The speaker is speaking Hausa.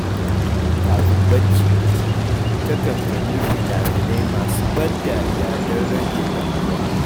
Kafin barci, ta kan kalli fina-finai masu ban dariya don rage damuwa.